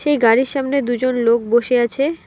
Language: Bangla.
একটি গাড়ির সামনে দুজন লোক বসে আছে।